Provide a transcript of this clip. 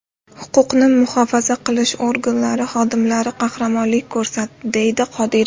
Huquqni muhofaza qilish organlari xodimlari qahramonlik ko‘rsatdi”, dedi Qodirov.